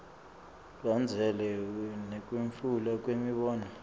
kulandzelana nekwetfulwa kwemibono